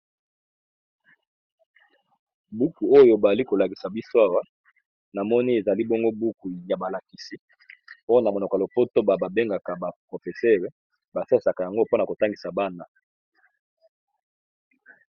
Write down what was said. Buku oyo ba zali ko lakisa biso awa, na moni ezali bongo buku ya balakisi pona monoko ya lopoto ba bengaka ba professeur . Ba salisaaka yango m pona ko tangisa bana .